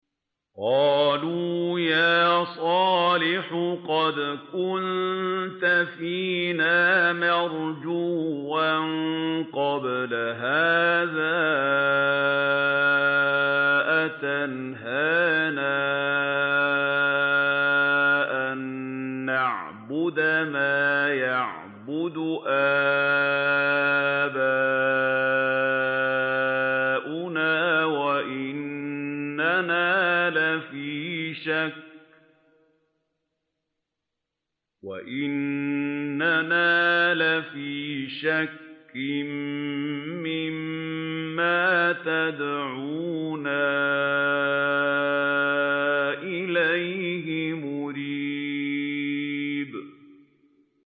قَالُوا يَا صَالِحُ قَدْ كُنتَ فِينَا مَرْجُوًّا قَبْلَ هَٰذَا ۖ أَتَنْهَانَا أَن نَّعْبُدَ مَا يَعْبُدُ آبَاؤُنَا وَإِنَّنَا لَفِي شَكٍّ مِّمَّا تَدْعُونَا إِلَيْهِ مُرِيبٍ